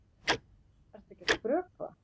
Ertu ekki að skrökva?